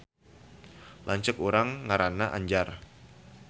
Lanceuk urang ngaranna Anjar